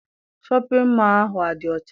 Shọpịn mọọ ahụ adị ọcha?